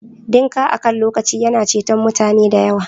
Dinka akan lokaci yana ceton mutane da yawa